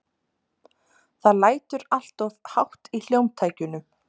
Það lætur alltof hátt í hljómtækjunum.